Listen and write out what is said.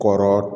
Kɔrɔ